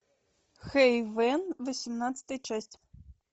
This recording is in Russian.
хейвен восемнадцатая часть